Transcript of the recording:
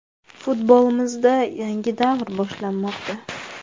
Futbolimizda yangi davr boshlanmoqda.